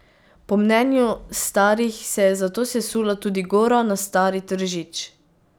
Po mnenju starih se je zato sesula tudi gora na stari Tržič.